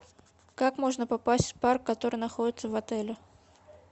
как можно попасть в парк который находится в отеле